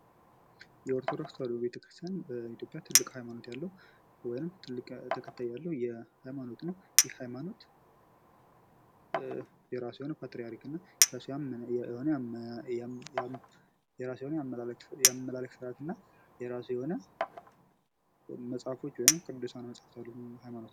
የኦርቶዶክስ ተዋህዶ ቤተክርስትያን በኢትዮጵያ ትልቅ ሀይማኖት ያለው ወይም ትልቅ ተከታይ ያለው የሀይማኖት አይነት ነው ።ይህ ሃይማኖት የራሱ የሆነ ፓትራሪክና የራሱ የሆነ የአመላለክ ስርአት እና የራሱ የሆነ ቅዱሳን መጻሕፍት ያለው ነው።